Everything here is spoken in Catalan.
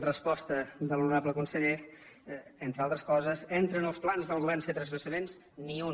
resposta de l’ho norable conseller entre altres coses entra en els plans del govern fer transvasaments ni un